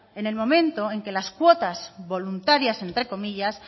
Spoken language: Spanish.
en el momento en que las cuotas voluntarias entre comillas